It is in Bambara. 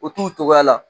O t'u cogoya la